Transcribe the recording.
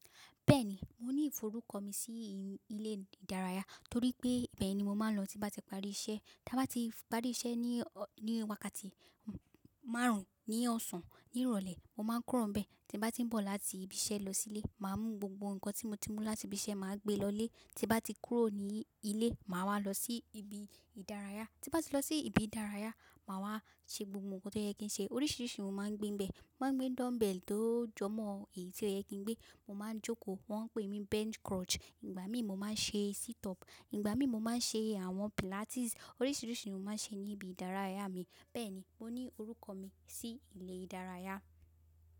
Bẹ́ẹ̀ni, mo ní ìforúkọ mi sí ilé ìdárayá torí pé íbẹ́ẹ̀ ni mo máa ń lọ tí bá ti parí iṣẹ́. Tí a bá ti parí iṣẹ́ ní wákàtí márùn-ún ní ọ̀sán ní ìrọ̀lẹ́, mo máa ń kúrò níbẹ̀. Tí bá ti ń bọ̀ láti ibi iṣẹ́ lọ sílé, màá mú gbogbo ǹkan tí mo ti mú láti ibi iṣẹ́, màá gbé lọlé. Tí bá ti kúrò ní ilé, màá wá lọ sí ibi ìdárayá. Tí bá ti lọ sí ibi ìdárayá, màá wá ṣe gbogbo ǹkan tó yẹ kí ń ṣe. Oríṣiríṣi ohun màá ń gbé ń bẹ. Mo máa ń gbé dumbbell tó jọmọ ẹyí tí ó yẹ kí ń gbé. Mo máa ń jókòó, wọ́n ń pè mí bench crutch. Ìgbà mí mo máa ń ṣe sit up, ìgbà mí mo máa ń ṣe àwọn pilates. Oríṣiríṣi ohun mo máa ń ṣe ní ibi ìdárayá mi. Bẹ́ẹ̀ni, mo ní orúkọ mi sí ilé ìdárayá.